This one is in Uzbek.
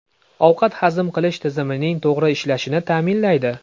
Ovqat hazm qilish tizimining to‘g‘ri ishlashini ta’minlaydi.